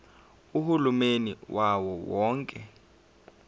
uhulumeni wawo wonke